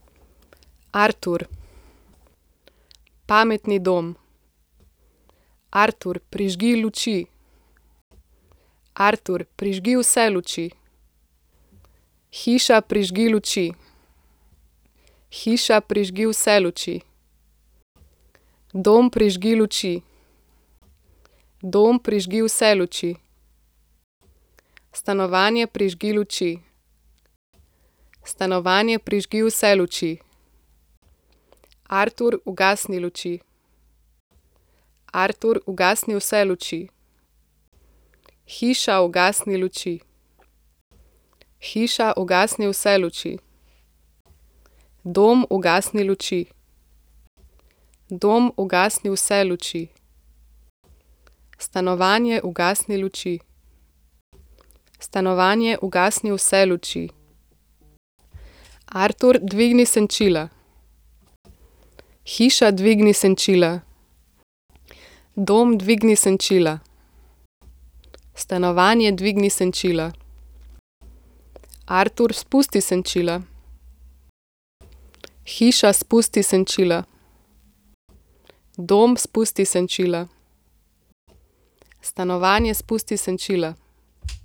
Artur. Pametni dom. Artur, prižgi luči. Artur, prižgi vse luči. Hiša, prižgi luči. Hiša, prižgi vse luči. Dom, prižgi luči. Dom, prižgi vse luči. Stanovanje, prižgi luči. Stanovanje, prižgi vse luči. Artur, ugasni luči. Artur, ugasni vse luči. Hiša, ugasni luči. Hiša, ugasni vse luči. Dom, ugasni luči. Dom, ugasni vse luči. Stanovanje, ugasni luči. Stanovanje, ugasni vse luči. Artur, dvigni senčila. Hiša, dvigni senčila. Dom, dvigni senčila. Stanovanje, dvigni senčila. Artur, spusti senčila. Hiša, spusti senčila. Dom, spusti senčila. Stanovanje, spusti senčila.